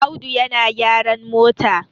Audu yana gyran mota